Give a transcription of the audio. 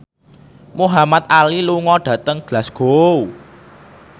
Muhamad Ali lunga dhateng Glasgow